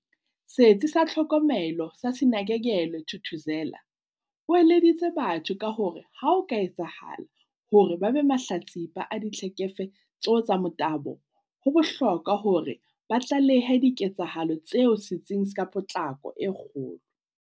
Setsi sa Tlhokomelo sa Sinakekelwe Thuthuzela, o eleditse batho ka hore ha ho ka etsahala hore ba be mahlatsipa a ditlhekefe tso tsa motabo, ho bohlokwa hore ba tlalehe diketsahalo tseo setsing ka potlako e kgolo.